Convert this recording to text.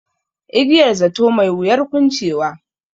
Igiyar zato, mai wuyar kuncewa.